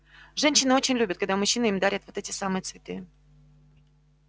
женщины очень любят когда мужчины им дарят вот эти самые цветы